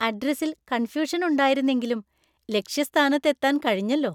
അഡ്രസ്സില്‍ കണ്‍ഫ്യൂഷന്‍ ഉണ്ടായിരുന്നെങ്കിലും, ലക്ഷ്യസ്ഥാനത്ത് എത്താൻ കഴിഞ്ഞല്ലോ!